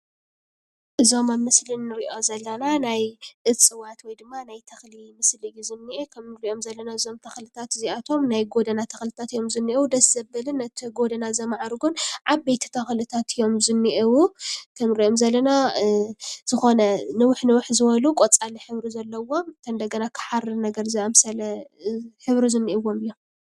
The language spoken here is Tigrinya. እዞም ኣብ ምስሊ ንሪኦም ዘለና ናይ እፅዋት ወይ ድማ ናይ ተኽሊ ምስሊ እዩ ዝኒአ፡፡ እቶም ንሪኦም ዘለና እዞም ተኽልታት እዚኣቶም ናይ ጎደና ተኽልታት እዮም ዝኔአዉ፡፡ ደስ ዘብልን ነቲ ጎደና ዘማዕርጉን ዓበይቲ ተኽልታት እዮም ዝኔእዉ፡፡ ከም ንሪኦም ዘለና ዝኾነ ንውሕ ንውሕ ዝበሉ ቖፃላት ሕብሪ ዘለዎም እንደገና ከዓ ሓሪ ዝኣምሰለ ሕብሪ ዝኒአዎም እዮም፡፡